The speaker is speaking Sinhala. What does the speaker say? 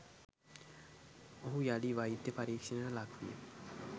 ඔහු යළි වෛද්‍ය පරීක්‍ෂණයකට ලක්විය